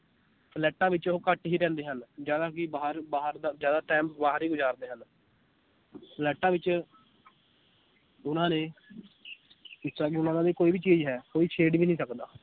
ਫਲੈਟਾਂ ਵਿਚ ਉਹ ਘੱਟ ਹੀ ਰਹਿੰਦੇ ਹਨ ਜ਼ਿਆਦਾ ਕਿ ਬਾਹਰ ਬਾਹਰ ਦਾ ਜ਼ਿਆਦਾ time ਬਾਹਰ ਹੀ ਗੁਜ਼ਾਰਦੇ ਹਨ ਫਲੈਟਾਂ ਵਿਚ ਉਹਨਾਂ ਨੇ ਜਿਸ ਤਰਾਂ ਕਿ ਉਹਨਾਂ ਦਾ ਵੀ ਕੋਈ ਵੀ ਚੀਜ਼ ਹੈ ਕੋਈ ਛੇੜ ਵੀ ਨੀ ਸਕਦਾ